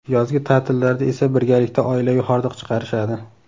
Yozgi ta’tillarda esa birgalikda oilaviy hordiq chiqarishadi.